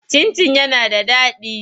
Cin-cin yana da daɗi.